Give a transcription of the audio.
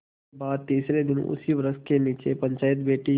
इसके बाद तीसरे दिन उसी वृक्ष के नीचे पंचायत बैठी